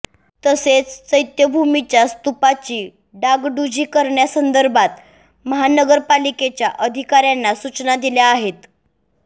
तसेच चैत्यभूमीच्या स्तूपाची डागडुजी करण्यासंदर्भात महानगरपालिकेच्या अधिकाऱ्यांना सूचना दिल्या आहेत